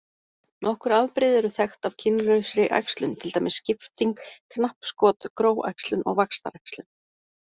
Nokkur afbrigði eru þekkt af kynlausri æxlun til dæmis skipting, knappskot, gróæxlun og vaxtaræxlun.